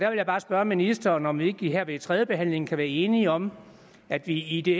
vil bare spørge ministeren om vi ikke her ved tredjebehandlingen kan være enige om at vi